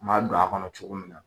M'a don a kɔnɔ cogo min na,